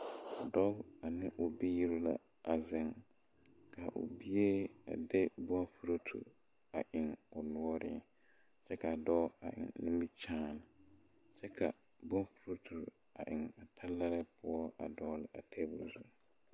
Dɔɔ ane o biire la a zeŋ ka I bie a de bon do te a eŋ o noɔreŋ kyɛ kaa dɔɔ a eŋ nimikyaane kyɛ ka bofurotu a eŋ talaree poɔ a dɔɔle a tabol zu.